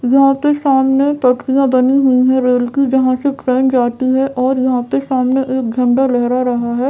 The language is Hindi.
यहाँ पे सामने पटरियां बनी हुई है रेल की जहाँ से ट्रेन जाती है और यहाँ पे सामने एक झंडा लहरा रहा है।